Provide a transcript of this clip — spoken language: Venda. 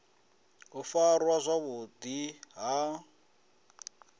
u farwa zwavhu ḓi ha